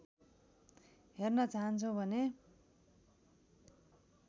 हेर्न चाहन्छौ भने